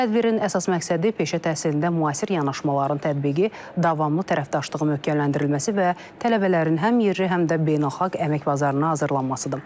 Tədbirin əsas məqsədi peşə təhsilində müasir yanaşmaların tətbiqi, davamlı tərəfdaşlığın möhkəmləndirilməsi və tələbələrin həm yerli, həm də beynəlxalq əmək bazarına hazırlanmasıdır.